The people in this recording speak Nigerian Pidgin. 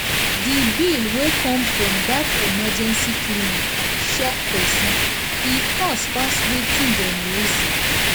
the bill wey come from that emergency clinic shock person e cost pass wetin dem reason.